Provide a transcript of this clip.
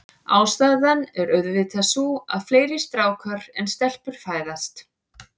Ástæðan er auðvitað sú, að fleiri strákar en stelpur fæðast.